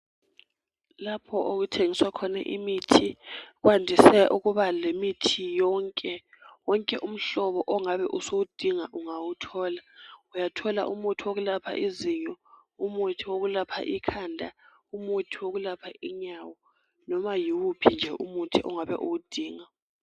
Lapho okuthengiswa khon'imithi kwandise ukuba lemithi yonke, wonke umhlobo ongabe usuwudinga ungawuthola. Uyathola umuthi wokulapha izinyo, umuthi wokulapha ikhanda, umuthi wokulapha inyawo, loba yiwuphi umuthi ongabe uwudinga.